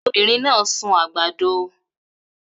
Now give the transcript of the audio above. Obinrin na sun agbado